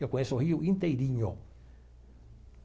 Eu conheço o Rio inteirinho.